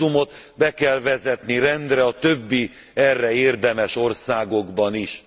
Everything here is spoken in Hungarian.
A vízumot be kell vezetni rendre a többi, erre érdemes országokban is.